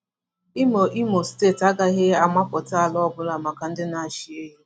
Imo Imo Steeti agaghị amapụta ala ọbụla maka ndị na-achị ehi.